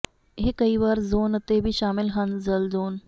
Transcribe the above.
ਇਹ ਕਈ ਵਾਰ ਜ਼ੋਨ ਅਤੇ ਵੀ ਸ਼ਾਮਲ ਹਨ ਜਲ ਜ਼ੋਨ